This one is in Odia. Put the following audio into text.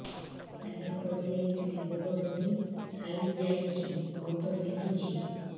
ଆଜ୍ଞା ପଡିଯାଇଥିଲି ଗୋଡ଼ ମୋଡ଼ି ହାଇଯାଇଛି ବହୁତ ବିନ୍ଧୁଛି